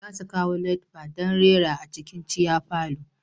Za su kawo live band don rera a cikin giya parlour.